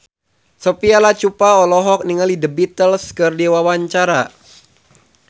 Sophia Latjuba olohok ningali The Beatles keur diwawancara